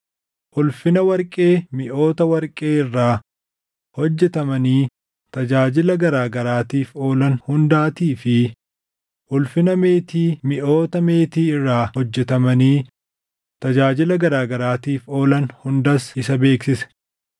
Ulfina warqee miʼoota warqee irraa hojjetamanii tajaajila garaa garaatiif oolan hundaatii fi ulfina meetii miʼoota meetii irraa hojjetamanii tajaajila garaa garaatiif oolan hundaas isa beeksise: